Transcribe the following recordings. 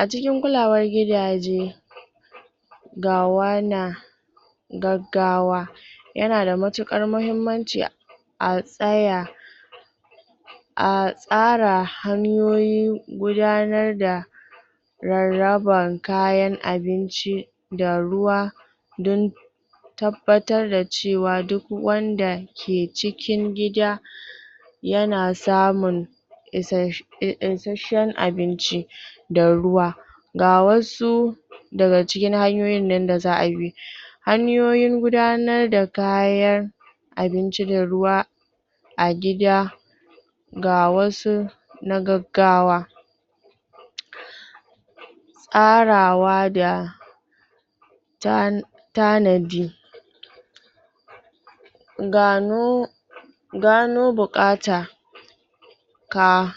A cikin kulawar gidaje ga wana gaggawa yana da matuƙar mahimmanci a tsaya a tsara hanyoyin gudanar da rarraban kayan abinci da ruwa dan tabbatar da cewa duk wanda ke cikin gida yana samun isashen abinci da ruwa ga wasu daga cikin hanyoyin da za'a bi hanyoyin gudanar da kayan abinci da ruwa a gida ga wasu na gaggawa tsarawa da tanadi gano gano buƙatan ka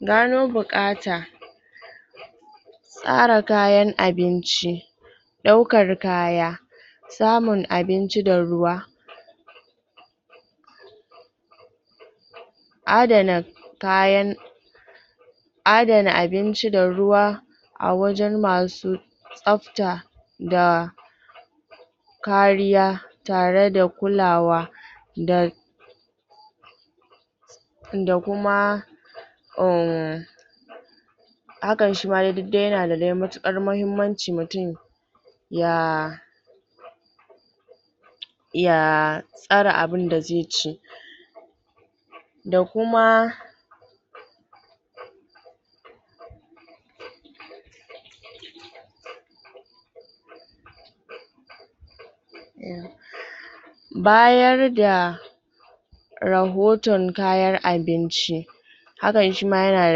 gano buƙata tsara kayan abinci ɗaukar kaya samun abinci da ruwa adana kayan adana abinci da ruwa a wajen masu tsabta da kariya tare da kulawa da da kuma umm hakan shi ma dai duk dai yana da dai matuƙar mahimmanci mutun ya ya tsare abinda zai ci da kuma bayar da rahoton kayan abinci hakan shi ma yana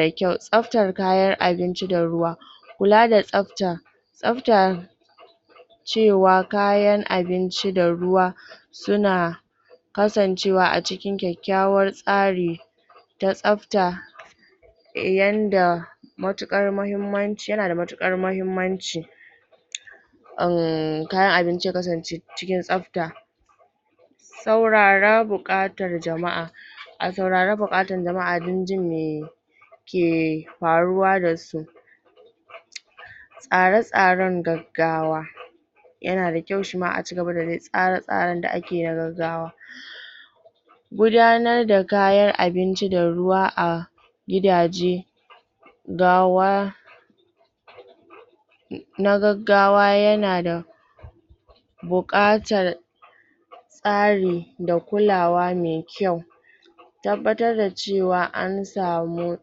da kyau, tsabtar kayan abinci da ruwa kula da tsabta, tsabta cewa kayan abinci da ruwa suna kasancewa a cikin kyakkyawar tsari da tsabta yanda matuƙar mahimmanci, yana da matuƙar mahimmanci umm, kayan abinci ya kasance cikin tsabta saurara buƙatar jama'a a saurara buƙatar jama'a dan jin me ke faruwa da su tsare-tsaren gaggawa yana da kyau shi ma a cigaba da dai tsare-tsaren da ake yi na gaggawa gudanar da kayan abinci da ruwa a a gidaje gawa na gaggawa yana da buƙatar tsari da kulawa me kyau tabbatar da cewa an samu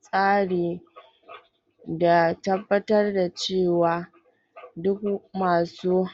tsari da tabbatar da cewa duk masu